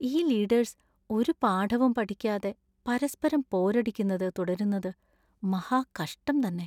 ഈ ലീഡേഴ്‌സ് ഒരു പാഠവും പഠിക്കാതെ പരസ്പരം പോരടിക്കുന്നത് തുടരുന്നത് മഹാകഷ്ടം തന്നെ.